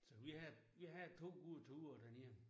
Så vi havde vi havde to gode ture derned